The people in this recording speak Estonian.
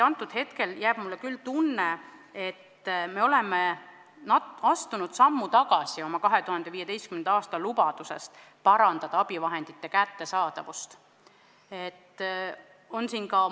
Hetkel on mul küll tunne, et me oleme astunud sammu tagasi oma 2015. aasta lubadusest abivahendite kättesaadavust parandada.